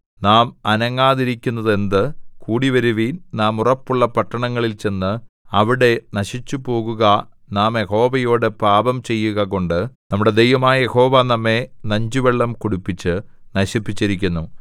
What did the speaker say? നാം അനങ്ങാതിരിക്കുന്നതെന്ത് കൂടിവരുവിൻ നാം ഉറപ്പുള്ള പട്ടണങ്ങളിൽ ചെന്ന് അവിടെ നശിച്ചുപോകുക നാം യഹോവയോടു പാപം ചെയ്യുകകൊണ്ട് നമ്മുടെ ദൈവമായ യഹോവ നമ്മെ നഞ്ചുവെള്ളം കുടിപ്പിച്ച് നശിപ്പിച്ചിരിക്കുന്നു